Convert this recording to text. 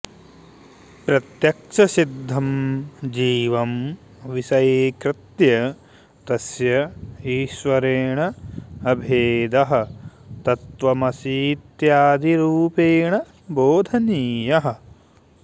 प्रत्यक्षसिद्धं जीवं विषयीकृत्य तस्य ईश्वरेण अभेदः तत्त्वमसीत्यादिरूपेण बोधनीयः